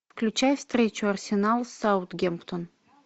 включай встречу арсенал с саутгемптон